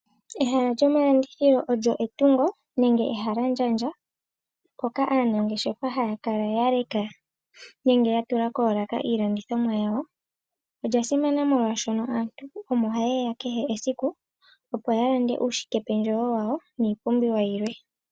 Ehala lyomalandithilo olyo etungo nenge ehalandjandja mpoka aanangeshefa haya kala yaleka nenge yatula koolaka iilandithimwa yawo. Olya simana oshoka aantu opo hayeya yalande uushikependjewo wawo niipumbiwa yilwe.